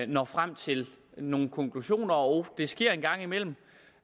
når frem til nogle konklusioner og det sker en gang imellem